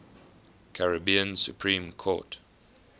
caribbean supreme court